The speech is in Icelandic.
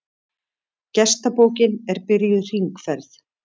Gestabókin er byrjuð hringferð.